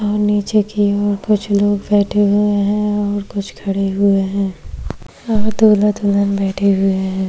और नीचे की ओर कुछ लोग बैठे हुए हैं और कुछ खड़े हुए हैं दुल्हा दुल्हन बैठे हुए हैं।